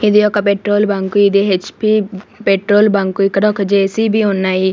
ఇది ఒక petrol bunk ఇది హెచ్_పి పెట్రోల్ బంక్ ఇక్కడ ఒక జె_సి_బి ఉన్నాయి.